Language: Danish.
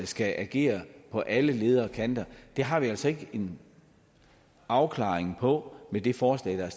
skal agere på alle leder og kanter har vi altså ikke en afklaring på med det forslag der er